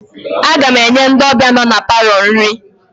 Aga m enye ndị ọbịa nọ na palọ nri